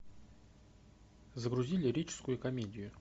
загрузи лирическую комедию